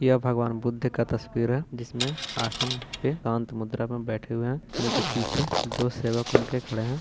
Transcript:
यह भगवान बुद्ध का तस्वीर है जिसमें आशन पे एकान्त मुद्रा में बैठे हुए है उनके पीछे दो सेवक उनके खड़े है।